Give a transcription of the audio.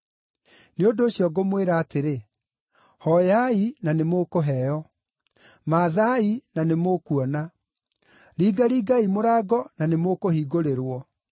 “Nĩ ũndũ ũcio ngũmwĩra atĩrĩ: Hooyai na nĩmũkũheo; mathaai na nĩmũkuona; ringaringai mũrango na nĩmũkũhingũrĩrwo.